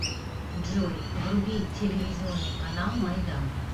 джой вруби телевизионный канал майдан